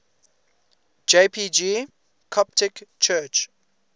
jpg coptic church